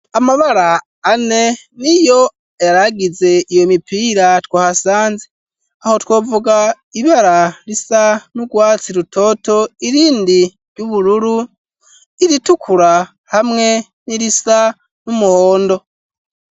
Amabara ane n'iyo yaragize iyo mipira twahasanze aho twovuga ibara risa n'urwatsi rutoto irindi ry'ubururu iritukura hamwe n'irisa n'umuhondo.